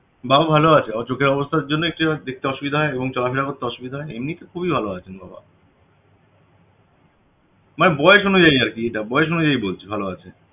বাবা ভালো আছে চোখের অবস্থার জন্য একটু দেখতে অসুবিধা হয় এবং চলাফেরা করতে অসুবিধা হয় এমনিতে খুবই ভালো আছেন বাবা মানে বয়স অনুযায়ী আরকি এটা বয়স অনুযায়ী বলছি ভালো আছে